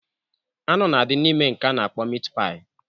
Anụ na adị n'ime nke a na-akpọ mit paị